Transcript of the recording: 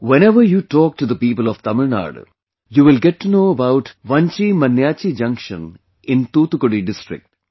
Whenever you talk to the people of Tamil Nadu, you will get to know about Vanchi Maniyachchi Junction in Thoothukudi district